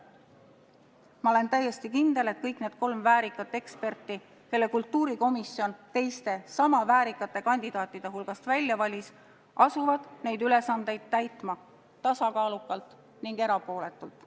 Ma olen täiesti kindel, et kõik need kolm väärikat eksperti, kelle kultuurikomisjon teiste sama väärikate kandidaatide hulgast välja valis, asuvad neid ülesandeid täitma tasakaalukalt ja erapooletult.